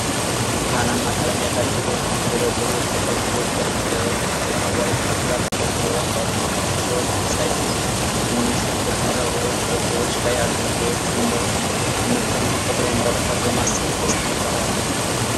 ብርቱካንማ ቀለም ያላቸው የተደረደሩ የቁልቋል ፍሬዎች ከጥቅጥቅ አረንጓዴ ቅጠሎች ጋር በቅርበት አሉ። የእሾህ መሳይ ትንንሽ ጥቁር ነጠብጣቦች በፍሬዎቹ ላይ አሉ። ፍሬዎቹን መመልከት የተፈጥሮን በረከት በማሰብ ደስታን ይፈጥራል።